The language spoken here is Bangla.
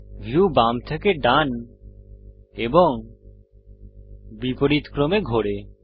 ভিউ বাম থেকে ডান এবং বিপরীতক্রমে ঘোরে